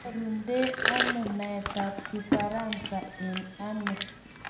koinyorunde ano naetab kifaransa eng ano?